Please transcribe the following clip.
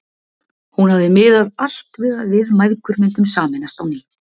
Hún hafði miðað allt við að við mæðgur myndum sameinast á ný.